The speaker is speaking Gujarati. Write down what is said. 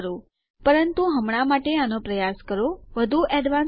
વધુ એડવાન્સ કાઉન્ટર જે આઇપી અડ્રેસને લે છે તે ઉપર ના મારા અન્ય ટ્યુટોરીયલને જુઓ